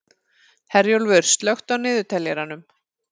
Herjólfur, slökktu á niðurteljaranum.